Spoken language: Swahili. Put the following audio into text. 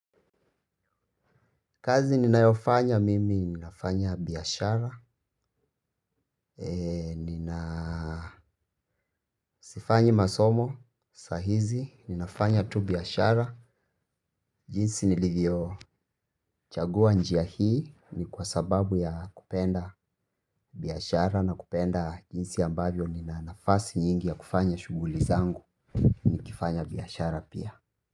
Kazi ninayofanya mimi ninafanya biashara na sifanyi masomo saa hizi ninafanya tu biashara jinsi nilivyo chagua njia hii ni kwa sababu ya kupenda biashara na kupenda jinsi ambavyo nina nafasi nyingi ya kufanya shughuli zangu nikifanya biashara pia.